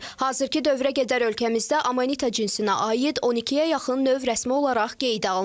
Hazırkı dövrə qədər ölkəmizdə Amanita cinsinə aid 12-yə yaxın növ rəsmi olaraq qeydə alınıb.